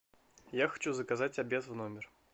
я хочу заказать обед в номер